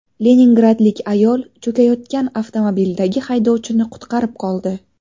Leningradlik ayol cho‘kayotgan avtomobildagi haydovchini qutqarib qoldi.